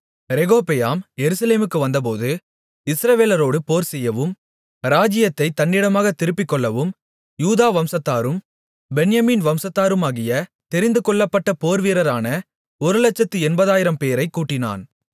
ரெகொபெயாம் எருசலேமுக்கு வந்தபோது இஸ்ரவேலோடு போர்செய்யவும் ராஜ்ஜியத்தைத் தன்னிடமாகத் திருப்பிக்கொள்ளவும் யூதா வம்சத்தாரும் பென்யமீன் வம்சத்தாருமாகிய தெரிந்துகொள்ளப்பட்ட போர்வீரரான ஒருலட்சத்து எண்பதாயிரம்பேரைக் கூட்டினான்